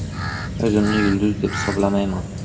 O‘zimni yulduz deb hisoblamayman.